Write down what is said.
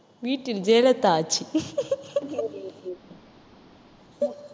வீட்டில் ஜெயலலிதா ஆட்சி